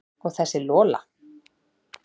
Og þessa Lola.